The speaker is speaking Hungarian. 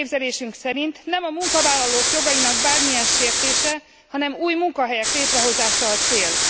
A mi elképzelésünk szerint nem a munkavállalók jogainak bármilyen sértése, hanem új munkahelyek létrehozása a cél.